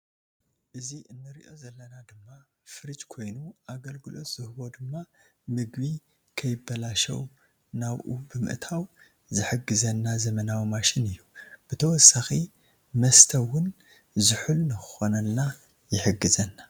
እዚ ንሪኦ ዘለና ድማ ፍርጅ ኮይኑ ኣግልግሎት ዝህቦ ድማ ምግቢ ንከይበላሾ ናቦኡ ብምእታዉ ዝሕግዘና ዘመናዊ ማሽን እዩ ብትወሳኪ መስተ እዉን ዝሑል ንክኮንልና ይሕግዘና ።